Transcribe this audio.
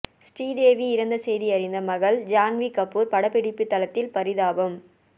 ஸ்ரீதேவி இறந்த செய்தி அறிந்த மகள் ஜான்வி கபூர் படப்பிடிப்புத்தளத்தில் பரிதாபம்